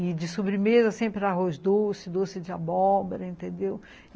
E de sobremesa sempre era arroz doce, doce de abóbora, entendeu?